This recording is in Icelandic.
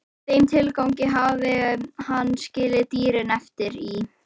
Í þeim tilgangi hafði hann skilið dýrin eftir í